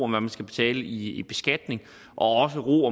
man skal betale i beskatning og også ro